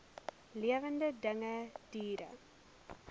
lewende dinge diere